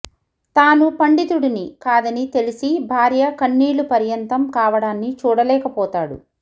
తాను పండితుడిని కాదని తెలిసి భార్య కన్నీళ్ల పర్యంతం కావడాన్ని చూడలేకపోతాడు